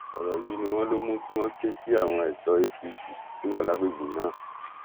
ọrọ yìí ni wọn lọ mú kí wọn ké sí àwọn ẹṣọ apc tó wà lágbègbè náà